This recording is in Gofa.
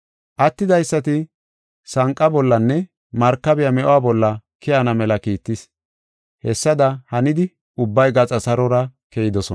Attidaysati sanqa bollanne, markabiya me7uwa bolla keyana mela kiittis. Hessada hanidi ubbay gaxa sarora keyidosona. Roome Buussaa